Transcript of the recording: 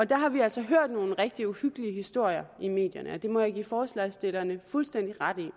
der har vi altså hørt nogle rigtig uhyggelige historier i medierne det må jeg give forslagsstillerne fuldstændig ret i